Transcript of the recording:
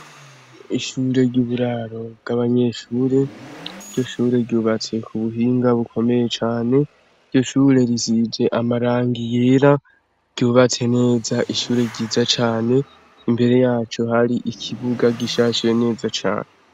Ishure ry'uburaro bw'abanyeshure. Iryo shure ryubatse ku buhinga bukomeye cane. Iryo shure risize amarangi yera, ryubatse neza. Ishure ryiza cane imbere yaco hari ikibuga gishahse neza cane.